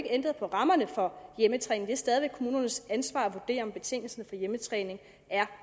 ændret på rammerne for hjemmetræning det er stadig væk kommunernes ansvar at vurdere om betingelsen for hjemmetræning er